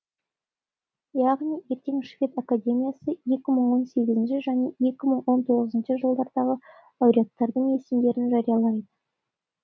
яғни ертең швед академиясы екі мың он сегізінші және екі мың он тоғызыншы жылдардағы лауреаттардың есімдерін жариялайды